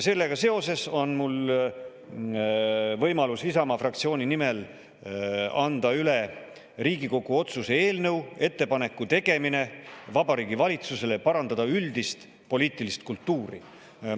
Sellega seoses on mul võimalus Isamaa fraktsiooni nimel anda üle Riigikogu otsuse "Ettepaneku tegemine Vabariigi Valitsusele parandada üldist poliitilist kultuuri" eelnõu.